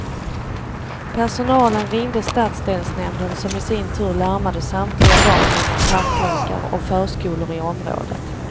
Personalen ringde stadsdelsnämnden som i sin tur larmade samtliga dagis, parklekar och förskolor i området.